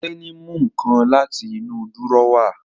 Tẹ́ní mú nǹkan láti inú dúrọ́à